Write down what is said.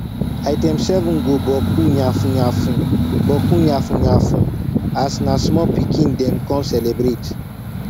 item 7 go bokku yafun yafun bokku yafun yafun as na small pikin dem con celebrate